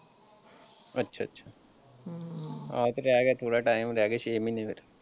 ਅੱਛਾ ਜੀ ਆਹੋ ਤੇ ਰਹਿ ਗਿਆ ਥੋੜਾ ਟਾਇਮ ਹੀ ਰਹਿ ਗਿਆ ਛੇ ਮਹੀਨੇ।